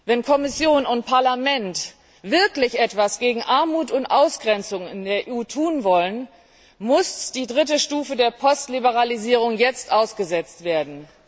Wenn Kommission und Parlament wirklich etwas gegen Armut und Ausgrenzung in der EU tun wollen, muss die dritte Stufe der Postliberalisierung jetzt ausgesetzt werden.